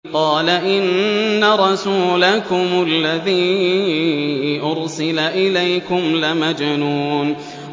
قَالَ إِنَّ رَسُولَكُمُ الَّذِي أُرْسِلَ إِلَيْكُمْ لَمَجْنُونٌ